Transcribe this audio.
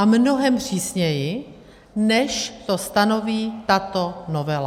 A mnohem přísněji, než to stanoví tato novela.